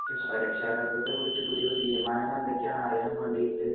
രക്ഷാകര്‍തത്വത്തെ കുറിച്ച് പുതിയ തീരുമാനങ്ങള്‍ എന്തൊക്കെയാണെന്ന് അറിയാന്‍ വേണ്ടിട്ട്